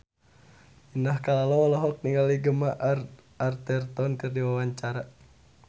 Indah Kalalo olohok ningali Gemma Arterton keur diwawancara